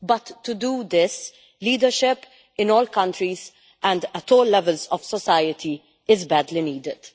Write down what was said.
But to do this, leadership in all countries and at all levels of society is badly needed.